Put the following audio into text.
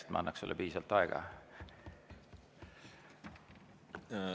Et ma teaksin sulle piisavalt aega anda.